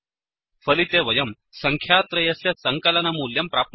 फलिते वयं सङ्ख्यात्रयस्य सङ्कलनमूल्यं प्राप्नुमः